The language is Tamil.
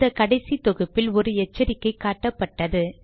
இந்த கடைசி தொகுப்பில் ஒரு எச்சரிக்கை காட்டப்பட்டது